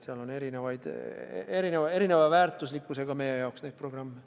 Seal on meie jaoks erineva väärtusega programme.